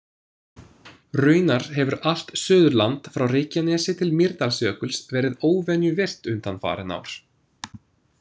Raunar hefur allt Suðurland frá Reykjanesi til Mýrdalsjökuls verið óvenju virkt undanfarin ár.